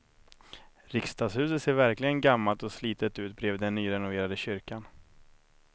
Riksdagshuset ser verkligen gammalt och slitet ut bredvid den nyrenoverade kyrkan.